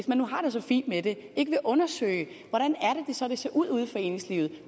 man nu har det så fint med det ikke vil undersøge hvordan det så vil se ud ude i foreningslivet